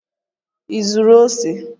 Ị zụrụ ose?